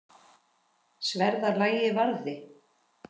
Sverða lagið varði.